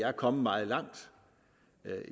er kommet meget langt